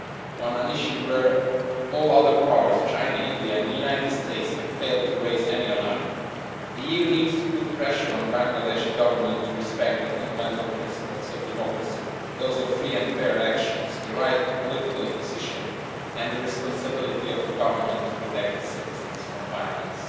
On an issue where all other powers, China, India and the United States, have failed to raise any alarm, the EU needs to put pressure on the Bangladeshi Government to respect the fundamental principles of democracy, those of free and fair elections, the right to political opposition and the responsibility of a government to protect its citizens from violence.